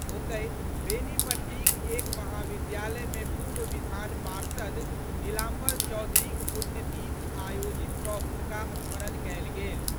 ओतहि, बेनीपट्टीक एक महाविद्यालय मे पूर्व विधान पार्षद नीलाम्बर चौधरीक पुण्यतिथि आयोजित कऽ हुनका स्मरण कयल गेल।